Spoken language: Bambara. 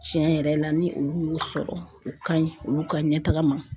Tiɲɛ yɛrɛ ni'aol la ni olu y'o sɔrɔ o ka ɲi olu ka ɲɛtaga ma